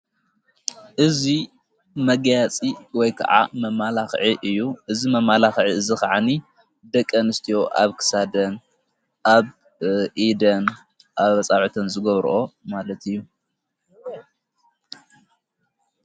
እዙ መጊያፂ ወይ ከዓ መማላኽዒ እዩ እዝ መማላኽዒ እዝ ኸዓኒ ደቀን ስትዮ ኣብክሳደን ኣብ ኢደን ኣብ ኣፃብዖተን ዝጐብርኦ ማለት እዩ።